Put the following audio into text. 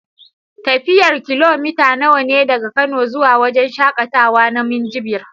Tafiyar kilomita nawa ne daga kano zuwa wajan shaƙatawa ma Minjibir?